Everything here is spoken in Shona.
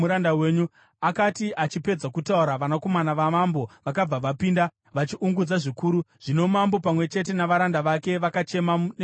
Akati achipedza kutaura, vanakomana vamambo vakabva vapinda, vachiungudza zvikuru. Zvino mambo pamwe chete navaranda vake vakachema neshungu kwazvo.